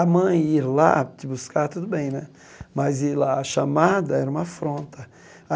A mãe ir lá te buscar, tudo bem né, mas ir lá, chamada, era uma afronta.